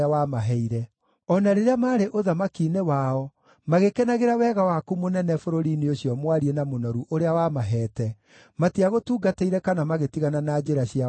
O na rĩrĩa maarĩ ũthamaki-inĩ wao, magĩkenagĩra wega waku mũnene bũrũri-inĩ ũcio mwariĩ na mũnoru ũrĩa wamaheete, matiagũtungatĩire kana magĩtigana na njĩra ciao cia waganu.